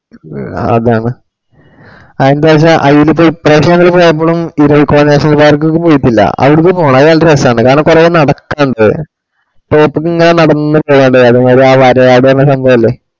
മ്മ് അതാണ്. അന്തന്ന് വെച്ചാ ഇപ്പ്രാശം ഞങ്ങള് പോയപ്പൊ ഇരവികുളം നാഷണൽ പാർക്ക് പൊയ്ക്കില്ല അവിടക്ക് പോണം അത് നല്ല രസാണ് കാരണം കൊറേ നടക്കണ്ട് road ക്ക്‌ ഇങ്ങനെ നടന്ന് വരയാട് പറഞ്ഞ സമ്ഭാവല്ലേ അതാണ്